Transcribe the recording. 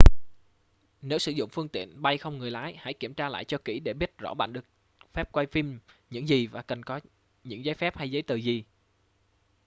nếu sử dụng phương tiện bay không người lái hãy kiểm tra lại cho kỹ để biết rõ bạn được phép quay phim những gì và cần có những giấy phép hay giấy tờ gì